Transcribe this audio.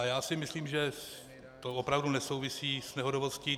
A já si myslím, že to opravdu nesouvisí s nehodovostí.